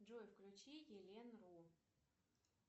джой включи елен ру